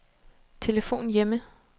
telefon hjemme